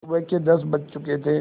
सुबह के दस बज चुके थे